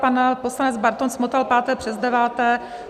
Pan poslanec Bartoň zmotal páté přes deváté.